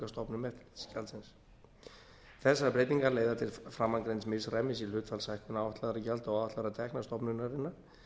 álagningarstofnum eftirlitsgjaldsins þessar breytingar leiða til framangreinds misræmis í hlutfallshækkun áætlaðra gjalda og áætlaðra tekna stofnunarinnar